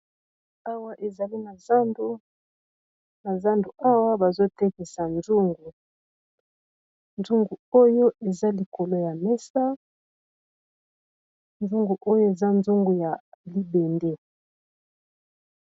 Awa, ezali na zandu. Awa bazo tekisa zungu. Zungu oyo eza likolo ya mesa. Zungu oyo eza nzungu ya libende.